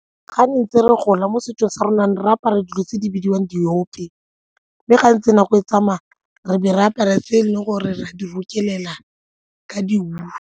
Ga ntse re gola mo setsong sa rona re apara dilo tse di bidiwang diope mme ga ntse nako e tsamaya re be re apara tse e leng gore re a di rokelela ka di-wool.